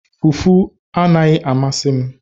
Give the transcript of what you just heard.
Fufu anaghị amasị m